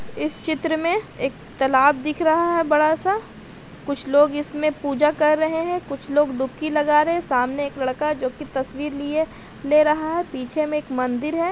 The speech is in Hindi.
इस चित्र में एक तलाब दिख रहा है बड़ा सा कुछ लोग इसमें पूजा कर रहे है कुछ लोग डूपकी लगा रहे है सामने एक लडका ज़ो की तस्वीर लिए ले रहा है पीछे में एक मंदिर है।